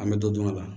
An bɛ dɔ dun a la